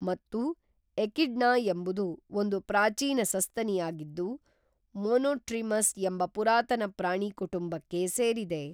ಮತ್ತು ಎಕಿಡ್ನ ಎಂಬುದು ಒಂದು ಪ್ರಾಚೀನ ಸಸ್ತನಿಯಾಗಿದ್ದು ಮೋನೋಟ್ರಿಮಸ್ ಎಂಬ ಪುರಾತನ ಪ್ರಾಣಿ ಕುಟುಂಬಕ್ಕೆ ಸೇರಿದೆ